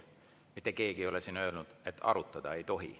Mitte keegi ei ole siin öelnud, et arutada ei tohi.